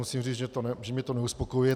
Musím říct, že mě to neuspokojuje.